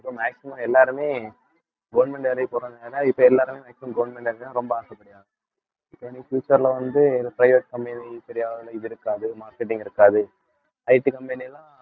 இப்ப maximum எல்லாருமே government வேலைக்கு போறதுனால இப்ப எல்லாருமே maximum government வேலை தான் ரொம்ப ஆசைப்படுறாங்க இப்ப இனி future ல வந்து இது private company சரியான இது இருக்காது marketing இருக்காது IT company எல்லாம்